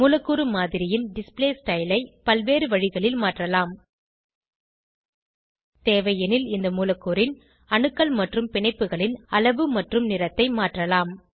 மூலக்கூறு மாதிரியின் display style ஐ பல்வேறு வழிகளில் மாற்றலாம் தேவையெனில் இந்த மூலக்கூறின் அணுக்கள் மற்றும் பிணைப்புகளின் அளவு மற்றும் நிறத்தை மாற்றலாம்